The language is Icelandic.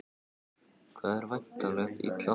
Það er væntanlega illa farið?